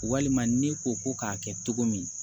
Walima ne ko ko k'a kɛ cogo min